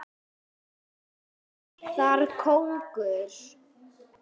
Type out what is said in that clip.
Það býr þar kóngur.